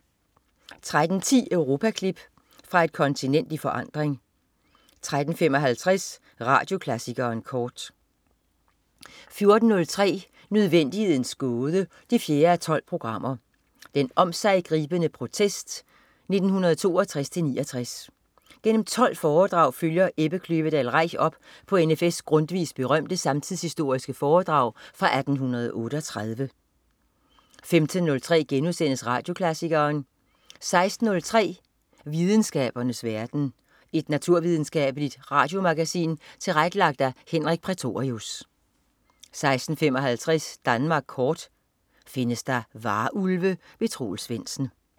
13.10 Europaklip. Fra et kontinent i forandring 13.55 Radioklassikeren kort 14.03 Nødvendighedens Gåde 4:12. Den omsiggribende protest (1962-69). Gennem 12 foredrag følger Ebbe Kløvedal Reich op på N.F.S Grundtvigs berømte samtidshistoriske foredrag fra 1838 15.03 Radioklassikeren* 16.03 Videnskabens verden. Et naturvidenskabeligt radiomagasin tilrettelagt af Henrik Prætorius 16.55 Danmark kort. Findes der varulve? Troels Svendsen